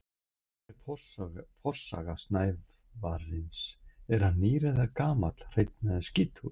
Hver er forsaga snævarins, er hann nýr eða gamall, hreinn eða skítugur?